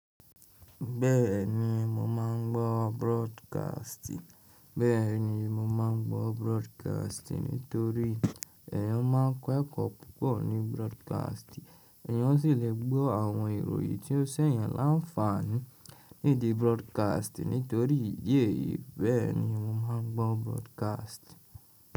Bẹ́ẹ̀ni mo máa ń gbọ́ broadcast. Bẹ́ẹ̀ni mo ma ń gbọ́ broadcast nítorí èyàn ma ń kọ́ ẹ̀kọ́ púpọ̀ ní broadcast. Èyàn sì lè gbọ́ àwọn ìròyìn tí ó ṣẹ̀yan láǹfààní nídi broadcast nítorí ìdí èyí. Bẹ́ẹ̀ni mo máa ń gbọ́ broadcast.